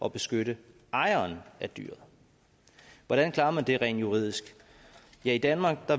at beskytte ejeren af dyret hvordan klarer man det rent juridisk i danmark